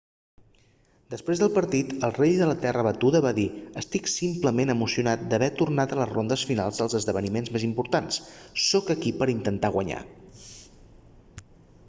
després del partit el rei de la terra batuda va dir estic simplement emocionat d'haver tornat a les rondes finals dels esdevniments més importants sóc aquí per a intentar guanyar